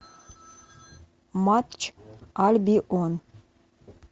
матч альбион